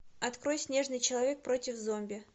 открой снежный человек против зомби